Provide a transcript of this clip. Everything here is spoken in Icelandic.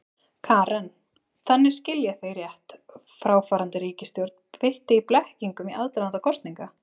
Karen: Þannig, skil ég þig rétt, fráfarandi ríkisstjórn beitti blekkingum í aðdraganda kosninga?